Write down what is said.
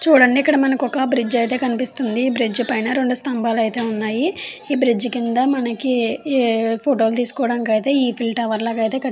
చుడండి ఇక్కక్డ ఒక బ్రిడ్జి అయతె మనకి కనిపిస్తుంది. ఇక్కడ రెండు సంబల్లు అయతె ఉన్నాయి. కింద మనకి ఫోటో లు తిసుకోడానికి అయతె ఎఫ్ఫిఎల్ టవర్ అయితె క --